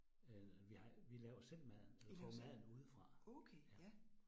Øh vi har vi laver selv maden får maden udefra. Ja